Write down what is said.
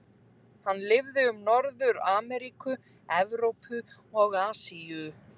Hann lifði um alla Norður-Ameríku, Evrópu og Asíu.